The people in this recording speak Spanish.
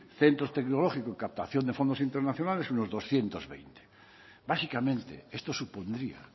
centros tecnológicos y captación de fondos internacionales unos doscientos veinte básicamente esto supondría